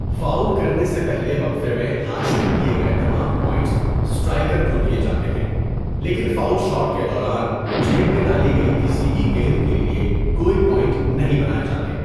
Foul کرنے سے پہلے وقفے میں حاصل کیے گئے تمام پوائنٹس اسٹرائیکر کو دیے جاتے ہیں، لیکن فاول شاٹ کے دوران جیب میں ڈالی گئی کسی بھی گیند کے لیے کوئی پوائنٹ نہیں بنائے جاتے۔